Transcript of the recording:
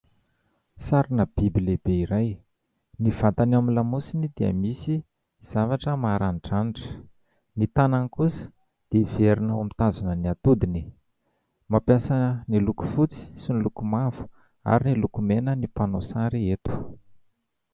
Sarina biby lehibe iray ny vatany ao amin'ny lamosiny dia misy zavatra maranidranitra, ny tanany kosa dia heverina ho mitazona ny atodiny. Mampiasa ny loko fotsy sy ny loko mavo ary ny loko mena ny mpanao sary eto.